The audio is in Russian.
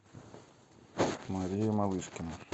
мария малышкина